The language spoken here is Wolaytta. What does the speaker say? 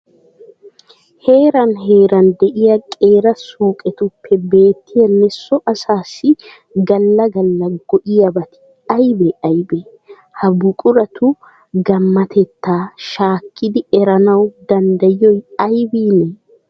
Heeran heeran de'iya qeera suuqetuppe beettiyanne so asaassi galla galla go"iyabati aybee aybee? Ha buquratu gammatettaa shaakidi eranawu danddayiyoy aybiinee?